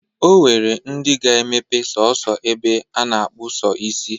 O nwere ndị ga-emepe sọọsọ ebe a na-akpụ sọ isi.